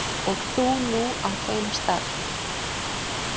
Og þú nú á þeim stað.